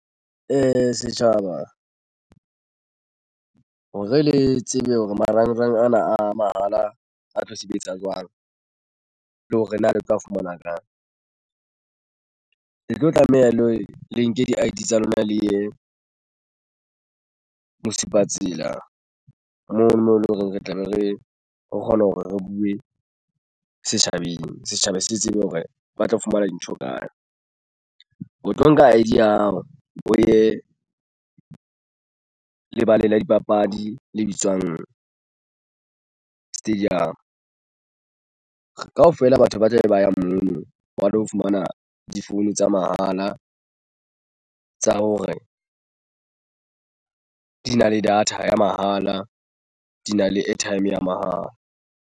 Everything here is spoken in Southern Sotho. Setjhaba hore le tsebe hore marangrang ana a mahala a tlo sebetsa jwang le hore na le tla fumana ka le tlo tlameha le le nke di-I_D tsa lona le ye Mosupatsela mona moo eleng horeng re tlabe re o kgona hore re buwe setjhabeng. Setjhaba se tsebe hore ba tlo fumana dintho kae o tlo nka I_D ya hao o ye o lebaleng la dipapadi le bitswang stadium. Kaofela batho ba tlabe ba ya mono ba lo fumana di-phone tsa mahala tsa hore di na le data ya mahala di na le airtime ya mahala.